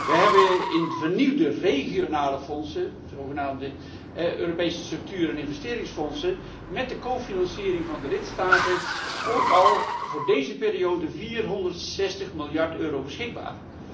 We hebben in de vernieuwde regionale fondsen, de zogenaamde Europese structuur en investeringsfondsen, met de cofinanciering van de lidstaten, ook al voor deze periode 460 miljard euro beschikbaar.